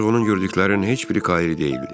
Ancaq onun gördüklərinin heç biri Kairi deyildi.